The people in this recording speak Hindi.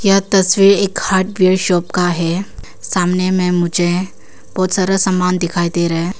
यह तस्वीर एक हार्डवेयर शॉप का है सामने में मुझे बहुत सारा सामान दिखाई दे रहा है।